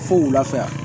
Fo wula fɛ